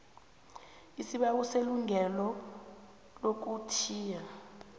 isibawo selungelo lokuthiya